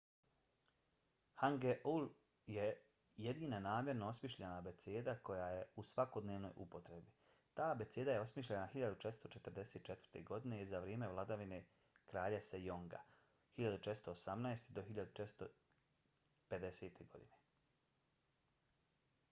hangeul je jedina namjerno osmišljena abeceda koja je u svakodnevnoj upotrebi. ta abeceda je osmišljena 1444. godine za vrijeme vladavine kralja sejonga 1418-1450. godine